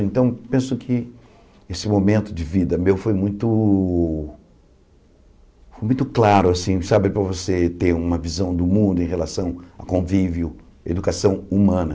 Então, penso que esse momento de vida meu foi muito foi muito claro para você ter uma visão do mundo em relação a convívio, educação humana.